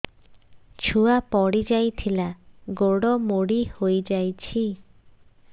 ଛୁଆ ପଡିଯାଇଥିଲା ଗୋଡ ମୋଡ଼ି ହୋଇଯାଇଛି